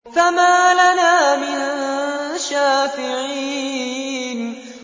فَمَا لَنَا مِن شَافِعِينَ